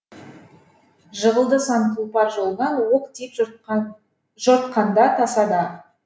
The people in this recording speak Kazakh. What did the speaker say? жығылды сан тұлпар жолынан оқ тиіп жортқанда тасада